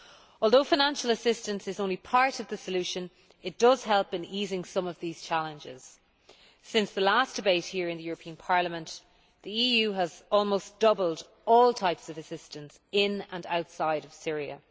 Although financial assistance is only part of the solution, it does help in easing some of these challenges. Since the last debate here in the European Parliament, the EU has almost doubled all types of assistance in and outside Syria.